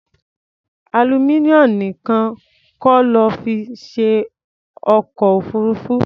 Aluminium nìkan kọ́ lọ́ fi ṣe ọkọ̀-òfurufú.